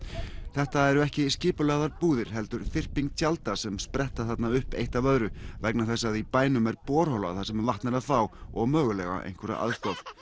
þetta eru ekki skipulagðar búðir heldur þyrping tjalda sem spretta þarna upp eitt af öðru vegna þess að í bænum er borhola þar sem vatn er að fá og mögulega einhverja aðstoð